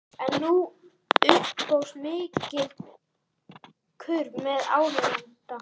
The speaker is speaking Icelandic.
En nú upphófst mikill kurr meðal áheyrenda.